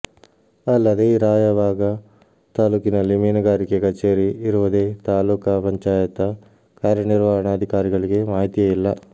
ಅಲ್ಲದೇ ರಾಯಬಾಗ ತಾಲೂಕಿನಲ್ಲಿ ಮೀನುಗಾರಿಕೆ ಕಛೇರಿ ಇರುವುದೇ ತಾಲೂಕಾ ಪಂಚಾಯತ ಕಾರ್ಯನಿರ್ವಹಣಾಧಿಕಾರಿಗಳಿಗೆ ಮಾಹಿತಿಯೇ ಇಲ್ಲ